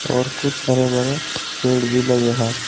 और कुछ हरे भरे पेड़ भी लगे है।